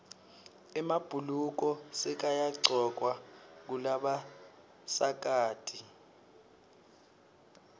emabhuluko sekayagcokwa ngulabasikati